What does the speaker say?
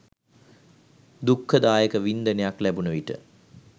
දුක්ඛ දායක වින්දනයක් ලැබුණ විට